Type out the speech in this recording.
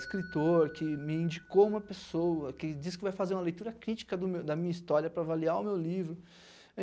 escritor, que me indicou uma pessoa, que disse que vai fazer uma leitura crítica do meu, da minha história para avaliar o meu livro.